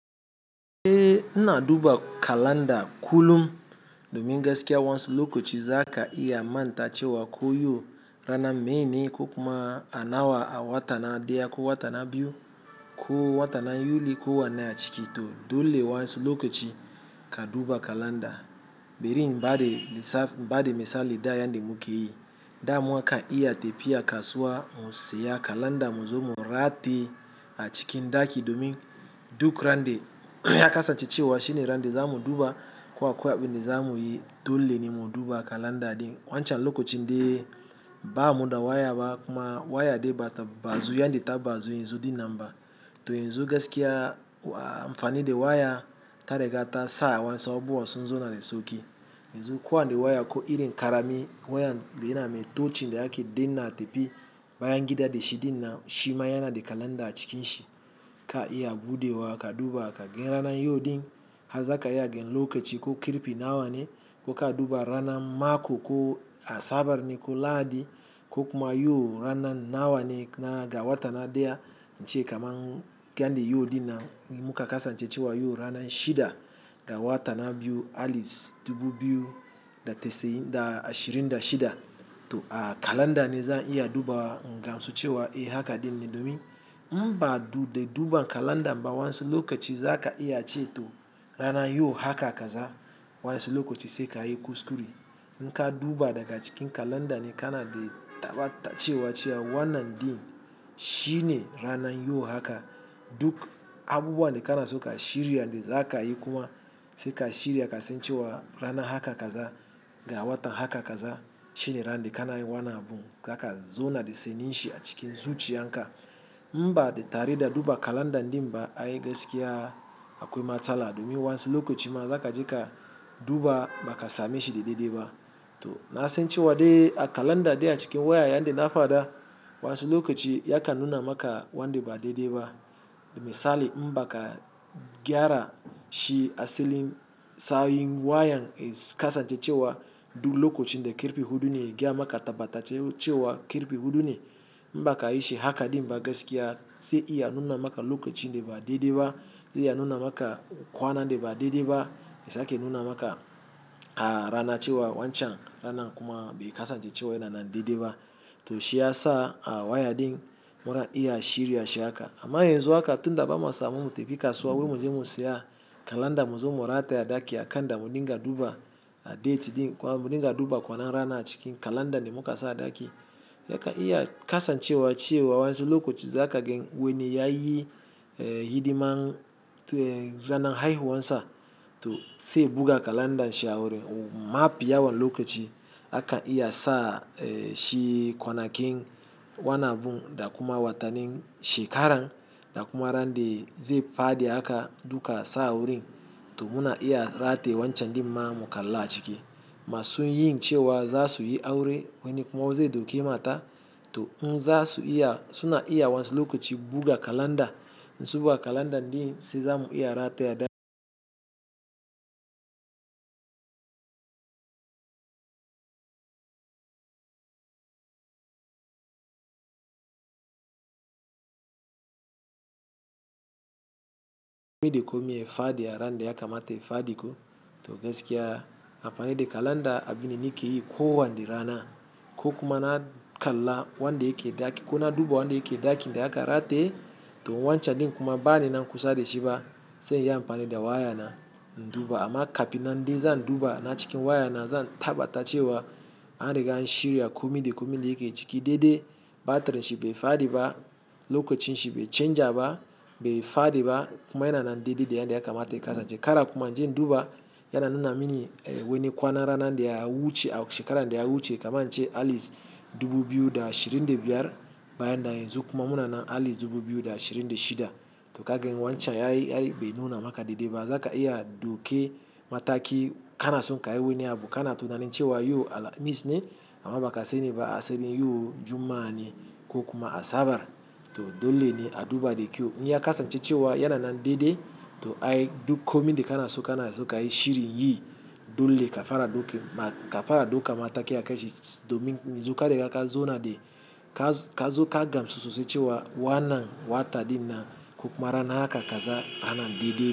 Eh ina duba kalanda kullum. Domin gaskiya wa'insu lokaci za ka iya manta cewa ko yau rana meyene ko kuma a nawa a watan na ɗaya ko watan na biyu ko watan na Yuli ko wane a ciki to dole wa'insu lokaci ka duba kalanda. Bari in bada misa in bada misali da yanda muke yi, da mukan iya tafiya kasuwa mu siya kalanda muzo mu rataye a cikin ɗaki domin duk ran da ya kasa ce cewa shine ran da za mu duba ko akwai abunda za muyi dole ne mu duba kalanda ɗin. Wancan lokacin de ba mu da waya ba kuma waya ɗin bata bazu yanda ta baza yanzu ɗin nan ba. To yanzu gaskiya amfani da waya ta riga ta sa wasu abubuwa sunzauna da sauki. Yanzu kowane waya ko irin ƙaramin wayan da yana mai touching da ake danna a tafi bayan gida da shi ɗinnan shima yana da kalanda a cikin shi ka iya buɗewa ka duba ka ga rana yau ɗin. Har za ka iya ganin lokaci ko karfei nawa ne ko ka duba rana mako ko Asabar ne ko Lahadi ko kuma yau ranan nawa ne na ga wata na ɗaya. Nace kaman yanda yau ɗinnan muka kasance cewa yau ranan shida ga watan na biyu aliz dubu biyu da tassa'in da ashirin da shida. To a kalanda ne zan iya dubawa in gamsu cewa eh haka ɗin ne domin in ba da duba kalandan ba wa'insu lokaci za ka iya ce to rana yau haka kaza wasu lokaci sai ka yi kuskure. In ka duba daga cikin kalanda ne kana da tabbata cewa wannan ɗin shine ranan yau haka duk abubuwan da kana so ka shirya da za ka yi kuma sai ka shirya ka sai ce cewa rana haka kaza ga watan haka kaza shine rande kana yi wannan abun. Zaka zona de sanin shi a cikin zuciya. In ba da tare da duba kalanda ɗin ba ai gaskiya akwai matsala domin wasu lokaci ma zaka je ka duba ba ka sannun shi da daidai ba. To na san cewa dai a kalanda de a cikin waya yanda na fada wasu lokaci ya kan nuna maka wanda ba daidai ba. Misali in ba ka gyara shi asalin sawin wayan ya kasance cewa duk lokacin da ƙarfe huɗu ne ya maka tabattaccin cewa ƙarfe huɗu ne. In ba ka yi shi haka ɗin ba gaskiya zai iya nuna maka lokacin da ba daidai ba, zai iya nuna maka kwanan da ba daidai ba, yasake nuna maka a rana cewa wancan rana kuma bai kasa ce cewa yana na daidai ba. To shi ya sa a waya ɗin muna iya a shirya shi haka. Amma yanzu haka tunda ba ma samun tafi kasuwa wai muje mu siya kalanda muzo mu rataya ɗaki aka kanda mu dinga duba a date ɗin kuwa mu dinga duba kwana rana a cikin kalanda ne muka sa a ɗaki. Zaka iya kasa ce cewa ciye wa wasu lokaci zaka gan wani ya yi hidiman ranan haihuwan sa to sai buga kalanda shi a wurin mafi yawan lokaci akan iya sa shi kwana kin wannan abun da kuma watannin shekaran da kuma randa zai fadi aka duka sa a wurin. To muna iya rataye wancan ɗin ma mu kalla a ciki. Masun yin cewa za su yi aure wani kuma zai ɗauki mata to in za su iya suna iya wasu lokaci buɗe kalanda. In sun buga kalanda ɗin sai za mu iya rataye a ɗaki. Komi da komi ya faɗi a ranan da ya kamata ya faɗi ko to gaskiya amfani da kalanda abu ne muke yi ko wane rana ko kuma na kalla wanda yake ɗaki ko na duba wanda yake ɗakin da aka rataye. To wancan ɗin kuma bani nan kusa da shi ba sai inyi amfani da waya na duba amma kafin nan dai zan duba na cikin waya na zan tabbata cewa an riga an shirya komi da komi da yake ciki daidai. Batirin shi bai faɗi ba, lokacin shi bai canja ba, bai faɗi ba kuma yana na daidai da yanda ya kamata ya kasance kada kuma inje in duba yana nuna mini wani kwana rana da ya wuce shekaran da ya wuce kaman ce aliz dubu biyu da ashirin da biyar bayan nan yanzu kuma muna na aliz dubu biyu da ashirin da shida. To kagan wancan ai ai bai nuna maka daidai ba. Zaka iya ɗauke mataki kana son ka yi wani abu kana tunanin cewa yau Alhamis ne amma ba ka sani ba asalin yau Juma'a ne ko kuma Asabar to dole ne a duba da kyau. In ya kasance cewa yana na daidai to ai duk komi da kana so kana so ka yi shirin yi dole ka fara ɗauka mataki aka shi domin yanzu ka riga ka zauna da kazo ka gamsu sosai cewa wannan watan ɗin na ko kuma rana haka kaza anan daidai.